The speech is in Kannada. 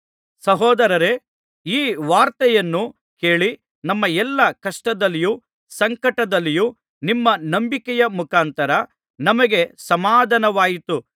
ಸಹೋದರರೇ ಈ ವಾರ್ತೆಯನ್ನು ಕೇಳಿ ನಮ್ಮ ಎಲ್ಲಾ ಕಷ್ಟದಲ್ಲಿಯೂ ಸಂಕಟದಲ್ಲಿಯೂ ನಿಮ್ಮ ನಂಬಿಕೆಯ ಮುಖಾಂತರ ನಮಗೆ ಸಮಾಧಾನವಾಯಿತು